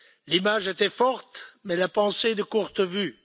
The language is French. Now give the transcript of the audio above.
L'image était forte, mais la pensée de courte vue.